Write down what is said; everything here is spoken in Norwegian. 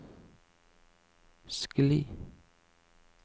skli